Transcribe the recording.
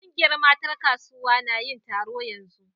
Kungiyar matan kasuwa na yin taro yanzu.